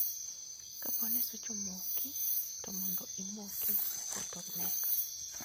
Kaponi swich omoki to mondo imoki moko to neg